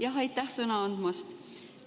Jah, aitäh sõna andmast!